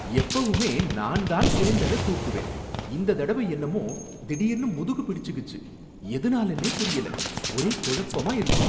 எப்பவுமே நான் தான் சிலிண்டர தூக்குவேன், இந்ததடவை என்னமோ திடீர்னு முதுகு பிடிச்சுகிச்சு. எதுனாலனே புரியல, ஒரே கொழப்பமா இருக்கு.